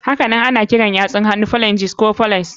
Hakanan ana kiran yatsun hannu phalanges ko phalanx.